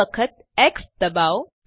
બે વખત એક્સ ડબાઓ